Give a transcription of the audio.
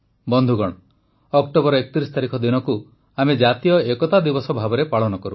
ବନ୍ଧୁଗଣ ଅକ୍ଟୋବର ୩୧ ତାରିଖ ଦିନକୁ ଆମେ ଜାତୀୟ ଏକତା ଦିବସ ଭାବେ ପାଳନ କରୁ